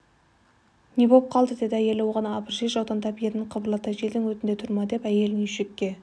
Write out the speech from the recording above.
не боп қалды деді әйелі оған абыржи жаутаңдап ернін қыбырлатты желдің өтінде тұрма деп әйелін үйшікке